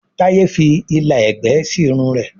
Taye fí ìlà ẹgbẹ sí Irun rẹ